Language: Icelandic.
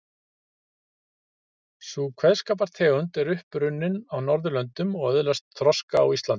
Sú kveðskapartegund er upp runnin á Norðurlöndum og öðlaðist þroska á Íslandi.